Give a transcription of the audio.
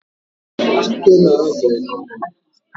Chike na-azọ igwe